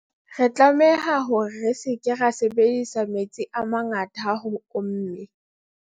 Re tlameha hore re se ke ra sebedisa metsi a mangata ha ho omme.